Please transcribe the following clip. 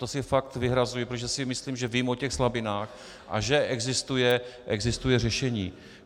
To si fakt vyhrazuji, protože si myslím, že vím o těch slabinách a že existuje řešení.